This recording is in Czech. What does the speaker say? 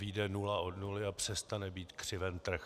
Vyjde nula od nuly a přestane být křiven trh.